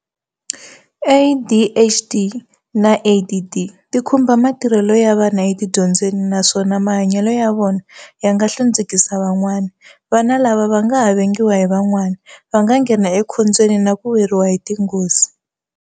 ADHD na ADD ti khumba matirhelo ya vana etidyondzweni naswona mahanyelo ya vona ya nga hlundzukisa van'wana. Vana lava va nga ha vengiwa hi van'wana, va nghena ekhombyeni na ku weriwa hi tinghozi.